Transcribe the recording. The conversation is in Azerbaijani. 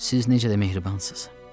Siz necə də mehribansız.